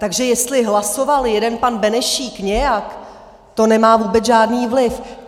Takže jestli hlasoval jeden pan Benešík nějak, to nemá vůbec žádný vliv.